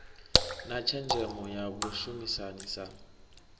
na tshenzhemo ya vhashumisani sa